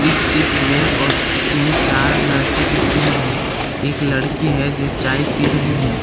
इस चित्र में बहुत तीन चार लड़के दिख रहे हैं एक लड़की है जो चाय पी रही है।